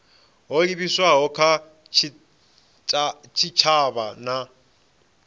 ho livhiswaho kha tshitshavha na